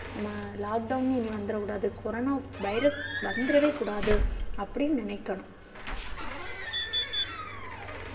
நாம lockdown இனி வந்துடக்கூடாது. கொரோனா virus வந்திடவே கூடாது அப்படினு நினைக்கனும்.